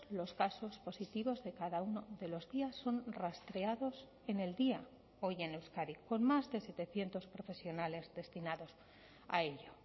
los casos positivos de cada uno de los días son rastreados en el día hoy en euskadi con más de setecientos profesionales destinados a ello